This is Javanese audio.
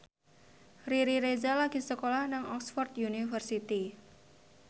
Riri Reza lagi sekolah nang Oxford university